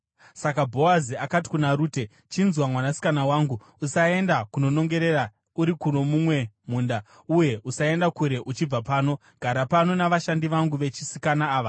Saka Bhoazi akati kuna Rute, “Chinzwa, mwanasikana wangu. Usaenda kunonongera uri kuno mumwe munda uye usaenda kure uchibva pano. Gara pano navashandi vangu vechisikana ava.